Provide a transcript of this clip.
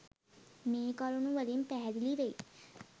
මේ කරුණු වලින් පැහැදිලි වෙයි.